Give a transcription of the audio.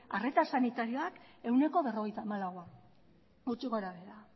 arreta sanitarioak ehuneko berrogeita hamalaua gutxi gora behera